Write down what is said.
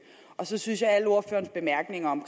så synes jeg at alle ordførerens bemærkninger om